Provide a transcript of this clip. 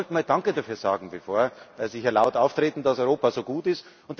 Sie sollten mal danke dafür sagen, bevor Sie hier laut auftreten, dass Europa so gut ist.